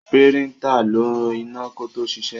Píríńtà ń lo iná kó tó ṣiṣẹ́.